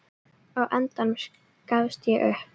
Á endanum gafst